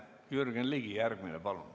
Jürgen Ligi, palun!